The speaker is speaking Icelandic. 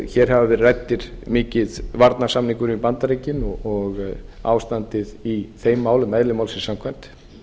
hér hefur verið ræddur mikið varnarsamningurinn við bandaríkin og ástandið í þeim málum eðli málsins samkvæmt